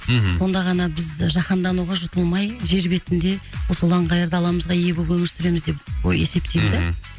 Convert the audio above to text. мхм сонда ғана біз жахандануға жұтылмай жер бетінде осы ұлан ғайыр даламызға ие болып өмір сүреміз деп есептеймін да мхм